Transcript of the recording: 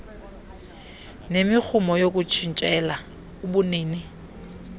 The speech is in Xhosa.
nemirhumo yokutshintshela ubunini